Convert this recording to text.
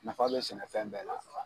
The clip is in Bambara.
Nafa bɛ sɛnɛfɛn bɛɛ la.